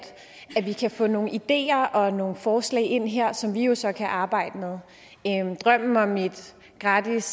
at vi kan få nogle ideer og nogle forslag ind her som vi jo så kan arbejde med drømmen om et gratis